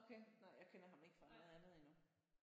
Okay? Nej jeg kender ham ikke fra noget andet endnu